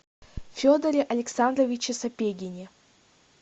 федоре александровиче сапегине